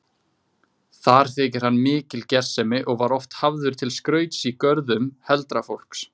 Þar þykir hann mikil gersemi og var oft hafður til skrauts í görðum heldra fólks.